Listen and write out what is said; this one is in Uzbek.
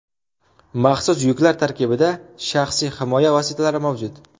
Maxsus yuklar tarkibida shaxsiy himoya vositalari mavjud.